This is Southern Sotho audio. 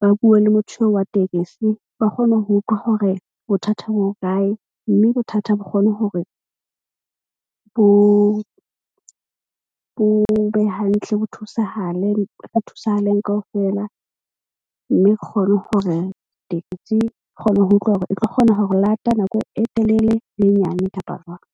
ba bue le motho eo wa tekesi. Ba kgone ho utlwa hore bothatha bo hokae. Mme bothata bo kgone hore bo be hantle bo thusahale. Re thusahaleng kaofela, mme re kgone hore tekesi ke kgone ho utlwa hore e tlo kgona ho re lata nako e telele le e nyane kapa jwang.